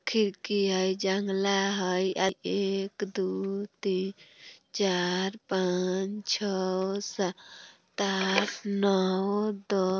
खिड़की हय जंगला हय आय एक दू तीन चार पाँच छौ सात आठ नौ द --